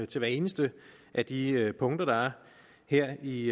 til hvert eneste af de punkter der er her i